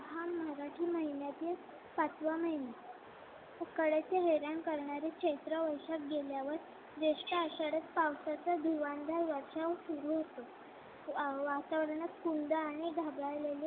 पाचवा महिना उकाड्याचे हैराण करणारे चैत्र वैशाख गेल्यावर जेष्ठ आषाढात पावसाचं धुवाधार वर्षाव सुरु होतो. वातावरणात